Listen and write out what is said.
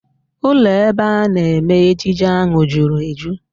Ụlọ ebe a na-eme ejije ahụ jụrụ eju